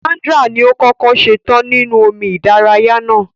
Sandra ni o kọkọ ṣetan ninu omi ìdárayá náà.